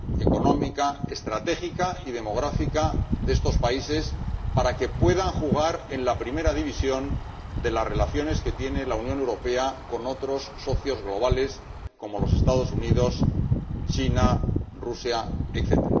económica, estratégica y demográfica de estos países, para que puedan jugar en la primera división de las relaciones que mantiene la Unión Europea con otros socios globales, como los Estados Unidos, China, Rusia, etc.